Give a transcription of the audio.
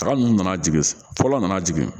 Taga ninnu nana jigin fɔlɔ nana jigin